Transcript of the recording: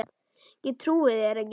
Ég trúi þér ekki.